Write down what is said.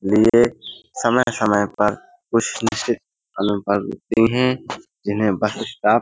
ये समय-समय पर जिन्हे बस स्टॉप --